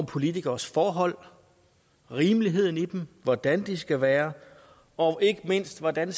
politikeres forhold rimeligheden i dem hvordan de skal være og ikke mindst hvordan